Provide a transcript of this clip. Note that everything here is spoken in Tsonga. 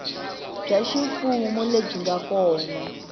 bya ximfumo lebyi nga kona